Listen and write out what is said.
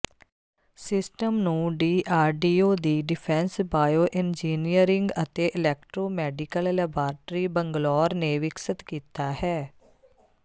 system ਨੂੰ DRDO ਦੀ defence bioengineering ਅਤੇ ਇਲੈਕਟ੍ਰੋ ਮੈਡੀਕਲ ਲੈਬਾਰਟਰੀ ਬੰਗਲੌਰ ਨੇ ਵਿਕਸਤ ਕੀਤਾ ਹੈ